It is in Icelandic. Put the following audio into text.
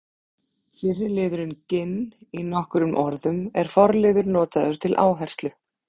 fyrri liðurinn ginn í nokkrum orðum er forliður notaður til áherslu